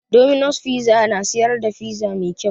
Dominos fiza na siyar da fiza mai kau